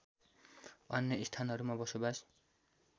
अन्य स्थानहरूमा बसोवास